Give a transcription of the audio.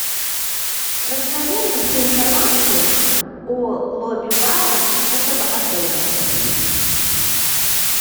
расскажи мне всю информацию о лобби бара этого отеля